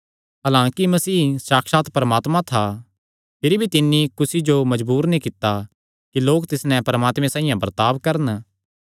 हलांकि मसीह साक्षात परमात्मा था भिरी भी तिन्नी कुसी जो मजबूर नीं कित्ता कि लोक तिस नैं परमात्मे साइआं बर्ताब करन